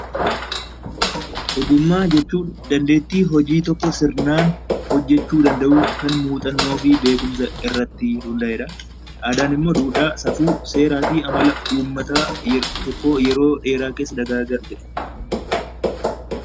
Ogummaa jechuun dandeettii hojii tokko sirnaan hojjechuu danda'uu kan muuxannoo fi beekumsa irratti hudaa'e dha. Aadaan immoo duudhaa, safuu, seera fi amala uummata tokkoo yeroo dheeraa keessa dagaagaa dhufe dha.